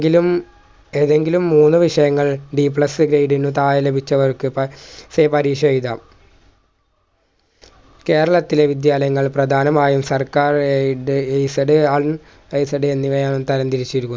ങ്കിലും ഏതെങ്കിലും മൂന്ന് വിഷയങ്ങളിൽ Bplus grade നു തായേ ലഭിച്ചവർക്കൊക്കെ say പരീഷ എയുതാം കേരളത്തിലെ വിദ്യാലയങ്ങൾ പ്രധാനമായും സർക്കാർ ഏയ് എയ്ഡ്‌ സഡായും എന്നിവയായി തരംതിരിച്ചിരിക്കുന്നു